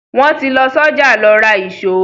Wọ́n ti lọ sọ́jà lọ ra ìṣó.